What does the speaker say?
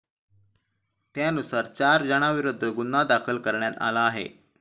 त्यानुसार, चार जणांविरोधात गुन्हा दाखल करण्यात आला आहे.